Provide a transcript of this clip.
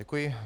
Děkuji.